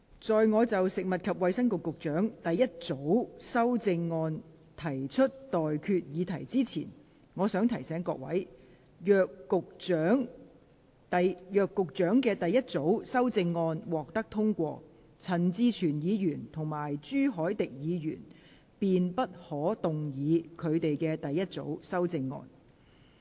在我就食物及衞生局局長的第一組修正案提出待決議題之前，我想提醒各位，若局長的第一組修正案獲得通過，陳志全議員及朱凱廸議員便不可動議他們的第一組修正案。